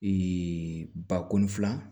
ba kɔnɔ fila